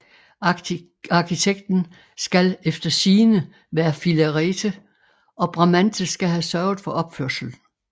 Arkitekten skal eftersigende være Filarete og Bramante skal have sørget for opførslen